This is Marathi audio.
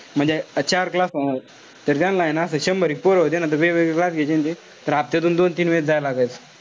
म्हणजे चार classes तर त्यांना ए ना असं शंभर एक पोरं होते ना त वेगवेगळे class घ्यायचे ना ते तर हफ्त्यातून दोन-तीन वेळेस जायल लागायचं.